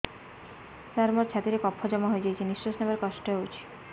ସାର ମୋର ଛାତି ରେ କଫ ଜମା ହେଇଯାଇଛି ନିଶ୍ୱାସ ନେବାରେ କଷ୍ଟ ହଉଛି